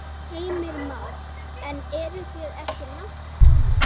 Heimir Már: En eru þið ekki langt komin?